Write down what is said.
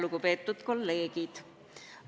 Lugupeetud kolleegid!